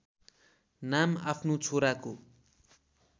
नाम आफ्नो छोराको